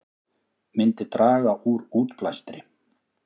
Myndi draga úr útblæstri